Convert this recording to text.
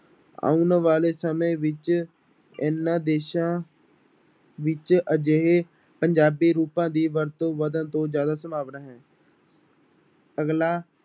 ਆਉਣ ਵਾਲੇ ਸਮੇਂ ਵਿੱਚ ਇਹਨਾਂ ਦੇਸਾਂ ਵਿੱਚ ਅਜਿਹੇ ਪੰਜਾਬੀ ਰੂਪਾਂ ਦੀ ਵਰਤੋਂ ਵੱਧਣ ਤੋਂ ਜ਼ਿਆਦਾ ਸੰਭਾਵਨਾ ਹੈ ਅਗਲਾ